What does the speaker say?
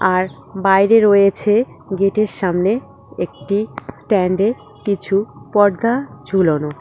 আর বাইরে রয়েছে গেটের সামনে একটি স্ট্যান্ডে কিছু পর্দা ঝুলোনো।